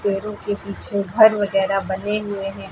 पेड़ों के पीछे घर वगैरह बने हुए हैं।